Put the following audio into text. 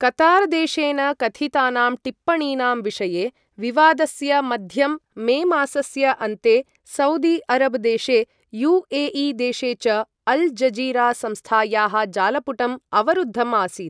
कतारदेशेन कथितानां टिप्पणीनां विषये विवादस्य मध्यं मे मासस्य अन्ते सऊदी अरब देशे यूएई देशे च अल जजीरा संस्थायाः जालपुटं अवरुद्धम् आसीत् ।